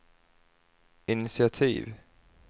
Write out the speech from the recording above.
initiativ